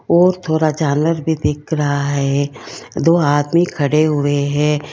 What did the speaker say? और थोड़ा झालर भी दिख रहा है दो आदमी खड़े हुए हैं।